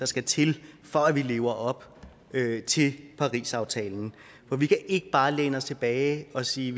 skal til for at vi lever op til parisaftalen for vi kan ikke bare læne os tilbage og sige